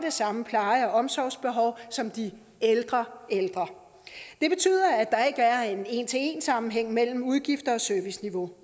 samme pleje og omsorgsbehov som de ældre ældre det betyder at der ikke er en en til en sammenhæng mellem udgifter og serviceniveau